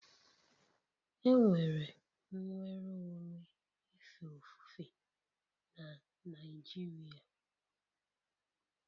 Enwere nnwere onwe ife ofufe na Naịjirịa